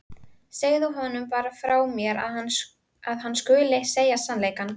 Segðu honum bara frá mér að hann skuli segja sannleikann.